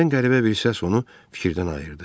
Birdən qəribə bir səs onu fikirdən ayırdı.